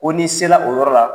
Ko ni sela o yɔrɔ la